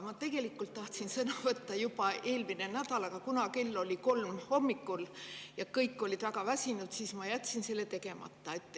Ma tegelikult tahtsin sõna võtta juba eelmine nädal, aga kuna kell oli kolm hommikul ja kõik olid väga väsinud, siis ma jätsin selle tegemata.